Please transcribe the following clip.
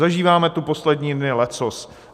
Zažíváme tu poslední dny leccos.